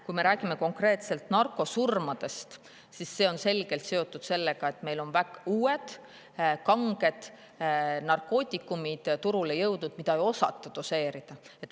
Kui me räägime konkreetselt narkosurmadest, siis see on selgelt seotud sellega, et meil on turule jõudnud uued kanged narkootikumid, mida ei osata doseerida.